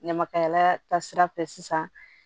Ɲamakalayala taasira fɛ sisan